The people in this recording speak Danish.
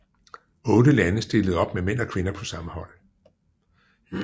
Otte lande stillede op med mænd og kvinder på samme hold